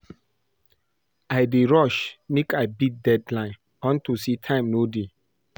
I dey rush make I beat deadline unto say time no dey